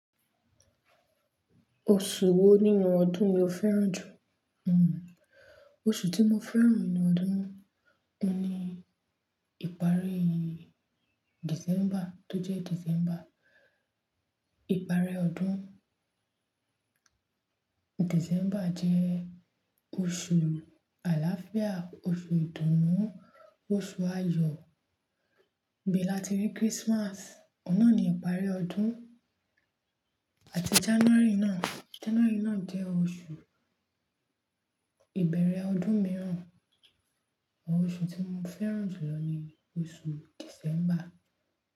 Oṣù wo nínú ọdún ni o fẹ́ràn jù? Hmmm oṣù tí mo fẹ́ràn nínú ọdún, ni ìparí December tó jẹ́ December. Ìparí ọdún December jẹ́ oṣù àlàáfíà, oṣù ìdùnnú, oṣù ayọ̀, ibe lati rí Christmas, ọ̀un nà ní ìparí ọdún àti January náà. January náà jẹ́ oṣù ìbẹ̀rẹ̀ ọdún mìíràn. Oṣù tí mo fẹ́ràn jù lọ ni oṣù December.